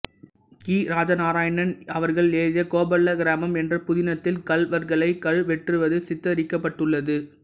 கி ராஜநாராயணன் அவர்கள் எழுதிய கோபல்ல கிராமம் என்ற புதினத்தில் கள்வர்களை கழுவேற்றுவது சித்தரிக்கப்பட்டுள்ளது